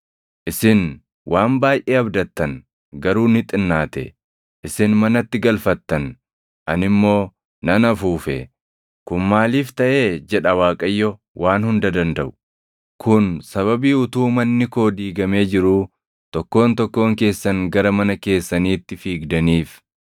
“Isin waan baayʼee abdattan; garuu ni xinnaate. Isin manatti galfattan ani immoo nan afuufe. Kun maaliif taʼee?” jedha Waaqayyo Waan Hunda Dandaʼu. “Kun sababii utuu manni koo diigamee jiruu tokkoon tokkoon keessan gara mana keessaniitti fiigdaniif.